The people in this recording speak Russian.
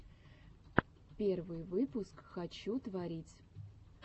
первый выпуск хочу творить